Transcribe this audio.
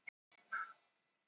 Dæmdur fyrir skattsvik